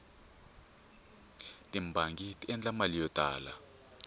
tibangi ti endla mali yo tala